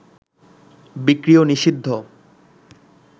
বিক্রিয় নিষিদ্ধ